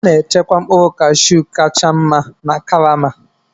A na-echekwa mkpụrụ Kashu kacha mma na karama.